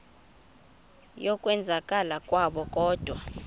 yokwenzakala kwabo kodwa